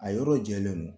A yɔrɔ jɛlen don